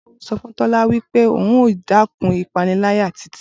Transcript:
Bolu so fun Tola wi pe oun yoo dekun ipanilaya Titi.